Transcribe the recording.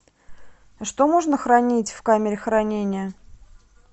а что можно хранить в камере хранения